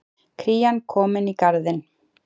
Krían komin í Garðinn